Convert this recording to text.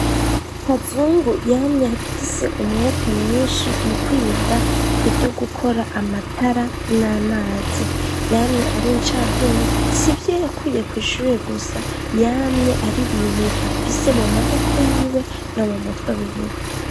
kazungu yamye afise umwete mwinshi mu kwiga ivyo gukora amatara n'amazi . Yamye ari incabwenge , s'ivyo yakuye kwishure gusa , yamye ari ibintu afise mu maboko yiwe no mu mutwe wiwe.